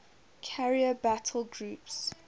carrier battle groups